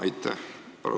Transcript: Aitäh!